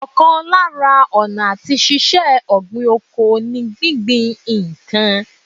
Ọ̀kan lára ọ̀nà àti ṣíṣe ọ̀gbìn oko ní gbíngbin ìkan